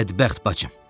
Bədbəxt bacım.